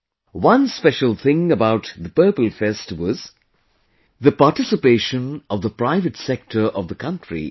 One special thing about Purple Fest was the participation of the private sector of the country in it